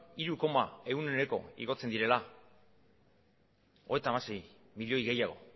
igotzen direla hogeita hamasei milioi gehiago